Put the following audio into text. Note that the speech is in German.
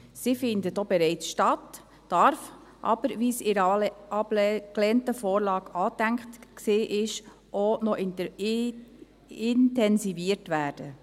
Sie findet auch bereits statt, darf aber, wie es in der abgelehnten Vorlage angedacht war, auch noch intensiviert werden.